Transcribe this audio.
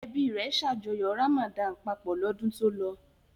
Ẹbí rẹ̀ ṣàjọyọ̀ Ramadan papọ̀ lọ́dún tó lọ?